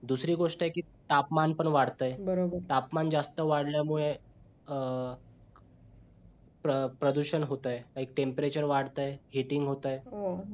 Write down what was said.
दुसरी गोष्ट आहे कि तापमान पण वाढतंय बरोबर आहे तापमान जास्त वाढल्या मुळे अं प्रदुषण पण होतंय आणी temperature वाढतंय heating होतंय हो